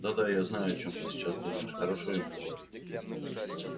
да да я знаю о чём ты сейчас думаешь хорошо ему говорить